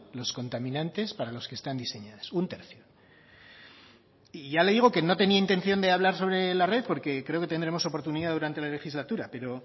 los contaminantes para los que están diseñadas un tercio y ya le digo que no tenía intención de hablar sobre la red porque creo que tendremos oportunidad durante la legislatura pero